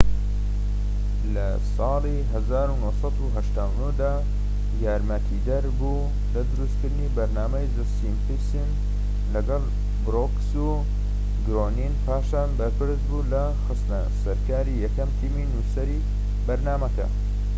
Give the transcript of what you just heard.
لە ١٩٨٩ دا یارمەتیدەر بوو لە دروستکردنی بەرنامەی زە سیمپسن لەگەڵ بروکس و گرۆنین، پاشان بەرپرس بوو لە خستنە سەرکاری یەکەم تیمی نوسەری بەرنامەکە